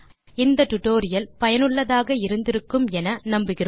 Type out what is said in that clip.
இந்த டுடோரியல் சுவாரசியமாகவும் பயனுள்ளதாகவும் இருந்திருக்கும் என நம்புகிறேன்